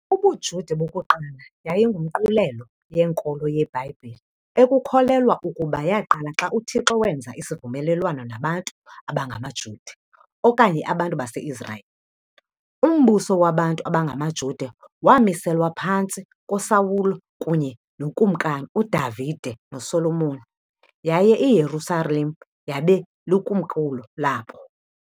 UbuJuda bokuqala yayingumqulelo yenkolo yeBhayibhile ekukholelwa ukuba yaqala xa uThixo wenza isivumelelwano nabantu abangamaJuda okanye abantu bakwa-Israyeli. Umbuso wabantu abangamaJuda wamiselwa phantsi koSawule kunye nookumkani uDavide noSolomoni, yaye iYerusalem yabe likomkhulu labo.